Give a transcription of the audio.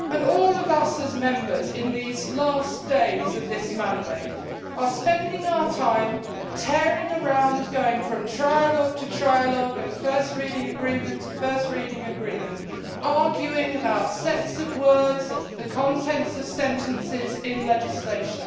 All of us as Members, in these last days of this mandate, are spending our time tearing around, going from trialogue to trialogue and first reading agreement to first reading agreement, arguing about sets of words, the contents of sentences in legislation.